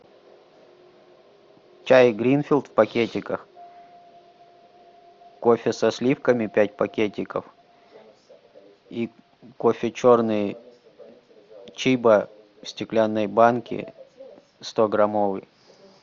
чай гринфилд в пакетиках кофе со сливками пять пакетиков и кофе черный чибо в стеклянной банке стограммовый